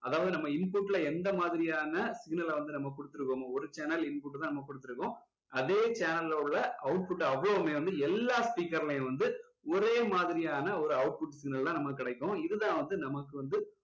அதாவது நம்ம input ல எந்த மாதிரியான signal அ வந்து நம்ம கொடுத்துருக்கமோ ஒரு channel input தான் நம்ம கொடுத்துருக்கோம் அதே channel ல உள்ள output அவ்வளவுமே வந்து எல்லா speaker லயுமே வந்து ஒரே மாதிரியான ஒரு output signal தான் நமக்கு கிடைக்கும் இது தான் வந்து நமக்கு வந்து